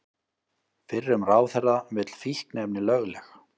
Fyrrum ráðherra vill fíkniefni lögleg